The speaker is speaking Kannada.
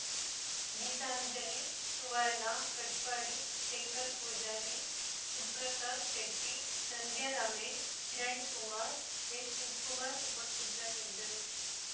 ಗೀತಾಂಜಲಿ ಸುವರ್ಣ ಕಟಪಾಡಿ ಶಂಕರ ಪೂಜಾರಿ ಸುಪ್ರಸಾದ್ ಶೆಟ್ಟಿ ಸಂಧ್ಯಾ ರಮೇಶ್ ಕಿರಣ್‌ಕುಮಾರ್ ಎಶಿವಕುಮಾರ್ ಉಪಸ್ಥಿತರಿದ್ದರು